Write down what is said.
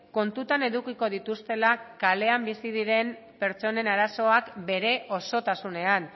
kontutan edukiko dituztela kalean bizi diren pertsonen arazoak bere osotasunean